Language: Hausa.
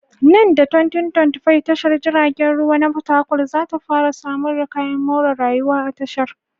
Nan da 2025, tashar jiragen ruwa na fatakwal za ta fara samar da kayan more rayuwaa tashar.